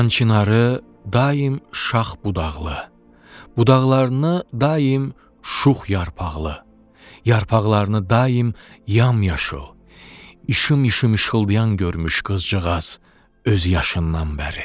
Xan çinarı daim şax budaqlı, budaqlarını daim şux yarpaqlı, yarpaqlarını daim yamyaşıl, işım-işım işıldayan görmüş qızcığaz öz yaşından bəri.